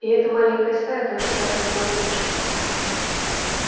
и эта маленькая стая тоже с каждым днём уменьшалась